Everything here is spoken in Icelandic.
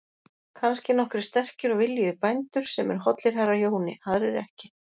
Kannski nokkrir sterkir og viljugir bændur sem eru hollir herra Jóni, aðrir ekki.